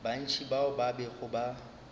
bantši bao ba bego ba